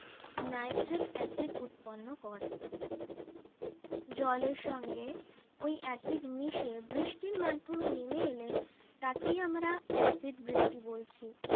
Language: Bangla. নাইট্রেট অ্যাসিড উৎপন্ন করে জলের সঙ্গে ওই অ্যাসিড মিশে বৃষ্টির মাধ্যমে নেমে এলে তাকে আমরা অ্যাসিড বৃষ্টি বলছি